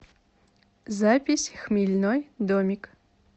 запись хмельной домик